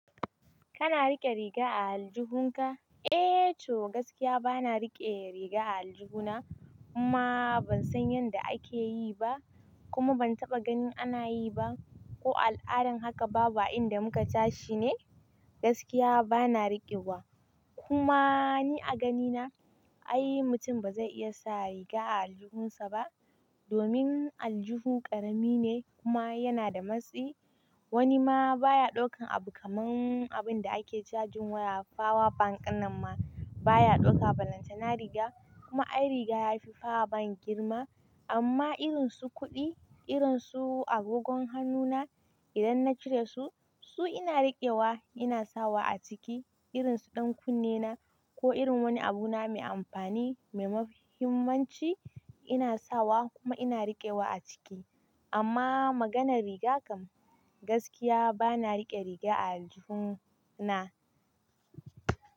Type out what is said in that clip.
Kana riƙe riga a aljihunka? Eh, to gaskiya bana riƙe riga a aljihuna. Kuma ban san yanda ake yi ba, kuma ban taɓa ganin ana yi ba ko al'adar haka babu inda muka tashi ne. Gaskiya bana riƙewa. Kuma ni a ganina, ai mutum ba zai iya sa riga a aljihunsa ba domin aljihu ƙarami ne kuma yana da matsi. Wani ma baya ɗaukan abu kaman abin da ake cajin waya, power bank nan ma baya ɗauka, balanta na riga kuma ai riga yafi power bank girma. Amma irin su kuɗi, irin su agogon hannuna idan na cire su, su ina riƙewa ina sawa a ciki. Irin su ɗan kunne na ko irin wani abu na mai amfani mai muhimmanci ina sawa kuma ina riƙewa a ciki. Amma maganar riga kam gaskiya bana riƙe riga a aljihuna.